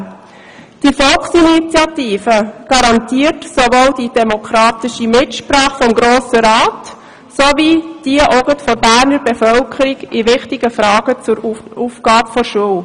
Die Volksinitiative garantiert sowohl die demokratische Mitsprache des Grossen Rats wie auch jene der Berner Bevölkerung in wichtigen Fragen zur Aufgabe der Schule.